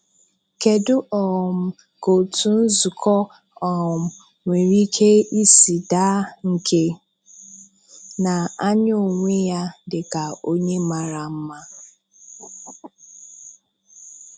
Kedu um ka otu nzukọ um nwere ike isi daa nke na-anya onwe ya dị ka onye mara mma?